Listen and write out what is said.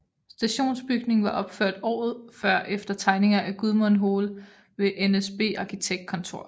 Stationsbygningen var opført året før efter tegninger af Gudmund Hoel ved NSB Arkitektkontor